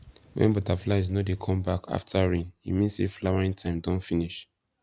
when butterflies no dey come back after rain e mean say flowering time don finish